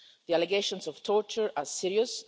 The allegations of torture are serious.